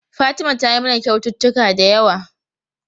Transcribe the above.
Fatima tayi mana kyaututtuka da yawa.